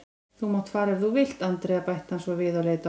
Þú mátt fara ef þú vilt, Andrea bætti hann svo við og leit á hana.